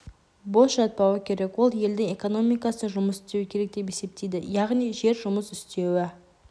бос жатпауы керек ол елдің экономикасына жұмыс істеуі керек деп есептейді яғни жер жұмыс істеуі